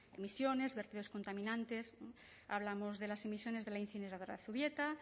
emisiones vertidos contaminantes hablamos de las emisiones de la incineradora de zubieta